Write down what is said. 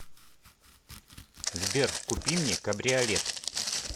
сбер купи мне кабриолет